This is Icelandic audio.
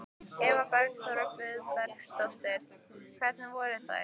Eva Bergþóra Guðbergsdóttir: Hvernig voru þær?